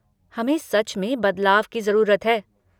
हमें सच में बदलाव की जरूरत है।